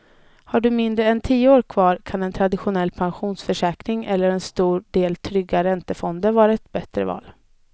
Har du mindre än tio år kvar kan en traditionell pensionsförsäkring eller en stor del trygga räntefonder vara ett bättre val.